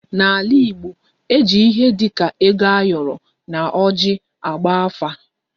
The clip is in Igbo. N'ala Igbo, e ji ihe dị ka ego ayoro na oji agba afa